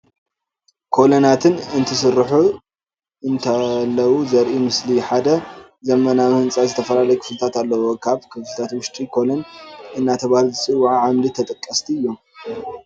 ኮለናትን እንትስርሑ እንተለዉ ዘርኢ ምስሊ፡፡ ሓደ ዘመናዊ ህንፃ ዝተፈላለዩ ክፍልታት ኣለዉዎ፡፡ ካብ ክፍልቱቱ ውሽጢ ኮለን እንዳተባህሉ ዝፅውዑ ዓድምዲ ተጠቀስቲ እዮም፡፡